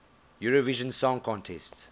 eurovision song contest